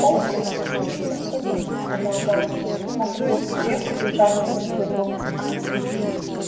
фоукс птица особенная сказал гарри нам придётся крепко держаться друг за друга